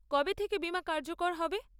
কবে থেকে বীমা কার্যকর হবে?